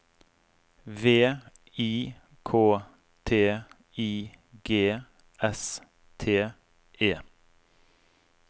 V I K T I G S T E